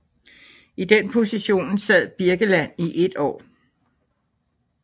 I den position sad Birkeland i et år